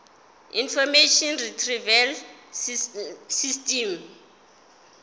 information retrieval system